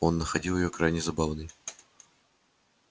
он находил её крайне забавной